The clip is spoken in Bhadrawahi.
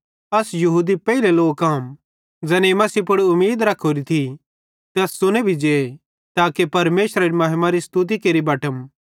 अस यहूदी पेइले लोक आम ज़ैनेईं मसीह पुड़ उमीद रखोरि थी ते अस च़ुने जे ताके परमेशरेरे महिमारी स्तुति केरि बटम